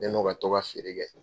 Ne n'o ka to ka feere kɛ.